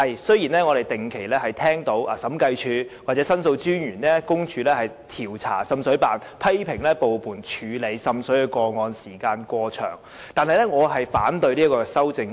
雖然我們不時會聽到審計署或申訴專員公署調查滲水辦，並批評部門處理滲水個案時間過長，但我反對上述修正案。